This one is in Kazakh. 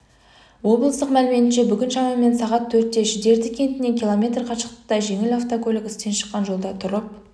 облыстық мәліметінше бүгін шамамен сағат төртте шідерті кентінен км қашықтықта жеңіл автокөлік істен шыққан жолда тұрып